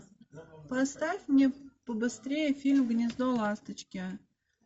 поставь мне побыстрее фильм гнездо ласточки